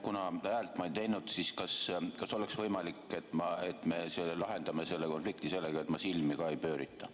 Kuna ma häält ei teinud, siis kas oleks võimalik, et me lahendame selle konflikti sellega, et ma silmi ka ei pöörita.